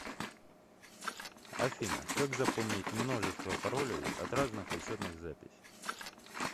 афина как запомнить множество паролей от разных учетных записей